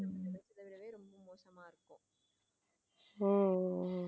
உம்